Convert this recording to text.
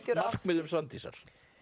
markmiðum Svandísar